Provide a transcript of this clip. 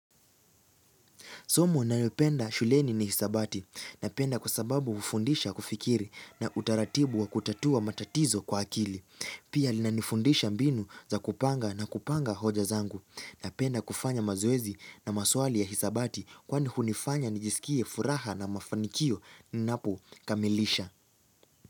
Somo nayopenda shuleni ni hisabati na penda kwa sababu hufundisha kufikiri na utaratibu wa kutatua matatizo kwa akili. Pia linanifundisha mbinu za kupanga na kupanga hoja zangu napenda kufanya mazoezi na maswali ya hisabati kwa ni hunifanya nijisikie furaha na mafanikio ninapo kamilisha.